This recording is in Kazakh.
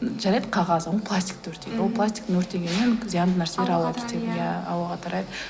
м жарайды қағаз ол пластикты өртейді ол пластикты өртегеннен зиянды нәрселер ауаға кетеді иә ауаға тарайды